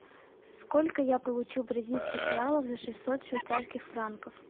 сколько я получу бразильских реалов за шестьсот швейцарских франков